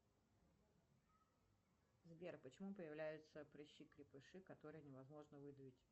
сбер почему появляются прыщи крепыши которые невозможно выдавить